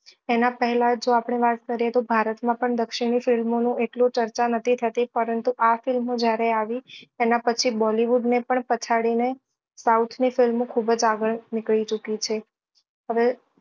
એના પહેલા જો આપડે વાત કરીએ તો ભારત માં પણ દક્ષિણી film ઓ ની એટલી ચર્ચા નતી થતી પરંતુ આ film ઓ જ્યારે આવી એના પછી bollywood ને પણ પછાડી ને સાઉથ ની film ઓ ખુબ જ આગળ નીકળી ચુકી છે